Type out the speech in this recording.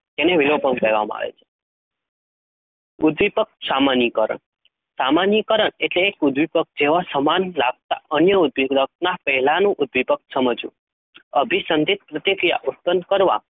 તેને વિલોપન કહેવામા આવે છે. ઉદ્દીપક સામાનીકરણ સામાનીકરણ એટલે એક ઉદ્દીપક જેવા સમાન લગતા અન્ય ઉદ્દીપકના પહેલાનું ઉદ્દીપક સમજવું. અભિસંધિત પ્રતિક્રિયા ઉત્પન્ન કરવા